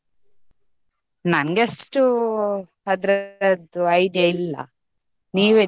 ನನ್ಗೆ ಅಷ್ಟು ಅದ್ರದು idea ಇಲ್ಲ .